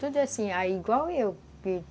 Tudo assim, igual eu.